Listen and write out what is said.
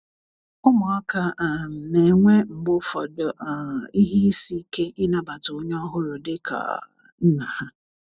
ụmụaka um na-enwe mgbe ụfọdụ um ihe ịsị ike ịna bata onye ọhuru di ka um nna ha